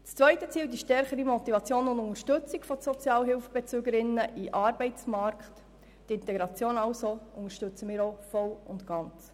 Das zweite Ziel, die stärkere Motivation und Unterstützung von Sozialhilfebezügerinnen und -bezügern für den Arbeitsmarkt, also die Integration, unterstützen wir ebenfalls voll und ganz.